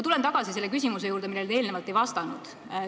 Tulen tagasi oma eelmise küsimuse juurde, millele te ei vastanud.